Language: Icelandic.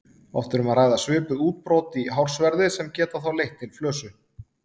Oft er um að ræða svipuð útbrot í hársverði sem geta þá leitt til flösu.